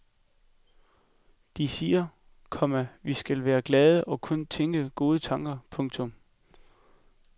De siger, komma vi skal være glade og kun tænke gode tanker. punktum